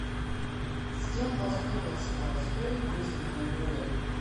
с кем поссорился толстой вызвав на дуэль